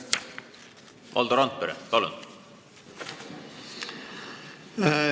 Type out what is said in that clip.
Valdo Randpere, palun!